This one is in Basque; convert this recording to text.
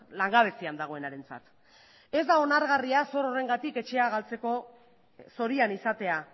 langabezian dagoenarentzat ez da onargarria zor horrengatik etxea galtzeko zorian izatea